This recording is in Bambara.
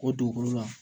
O dugukolo la